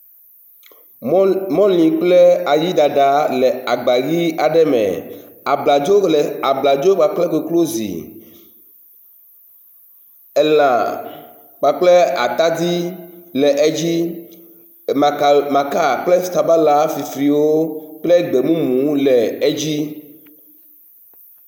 Mɔli kple ayi ɖaɖa le agba ʋi aɖe me, abladzo kpakple koklozi elã kpakple atadi le edzi, maka kple sabala fifliwo kple gbemumu wo le edzi